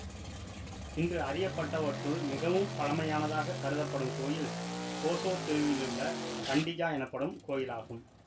இன்று அறியப்பட்டவற்றுள் மிகவும் பழமையானதாகக் கருதப்படும் கோயில் கோசோ த் தீவிலுள்ள கன்டிஜா எனப்படும் கோயிலாகும்